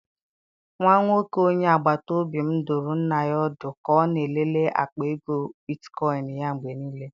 Nwa nwoke onye agbata obi m dụrụ nna ya ọdụ ka ọ na-elele akpa ego bitkoịn ya mgbe niile.